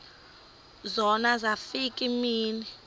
zona zafika iimini